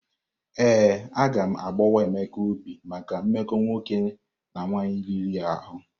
Ee, agam agbawa Emeka obi maka mmekọ nwoke na nwaanyị riri ahụ.